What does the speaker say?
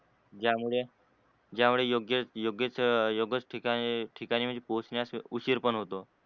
ज्यामुळ योग्येच योग्येच योग्येच ठिकाणी पोहचण्यास उशीर पण होतो.